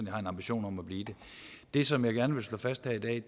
har en ambition om at blive det det som jeg gerne vil slå fast her i dag